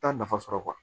Taa nafa sɔrɔ